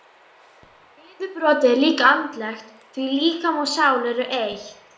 Niðurbrotið er líka andlegt því líkami og sál eru eitt.